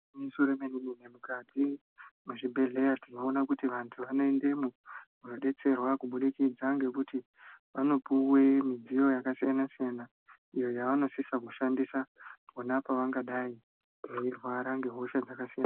Igwinyiso yemene mene mukati mwezvibhedhleya tinoona kuti vantu anoendemwo kunodetserwa kubudikidza ngekuti vanopuwe midziyo yakasiyana siyana iyo yavanodisa kushandisa pona pavangadai veirwara ngehosha dzakasiyana siyana.